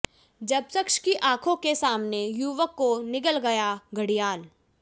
जब शख्स की आंखों के सामने युवक को निगल गया घड़ियाल